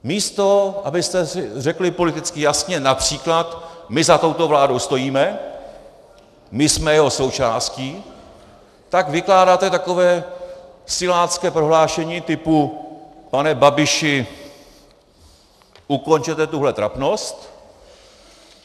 Místo abyste řekli politicky jasně například "my za touto vládou stojíme, my jsme její součástí", tak vykládáte takové silácké prohlášení typu: pane Babiši, ukončete tuhle trapnost!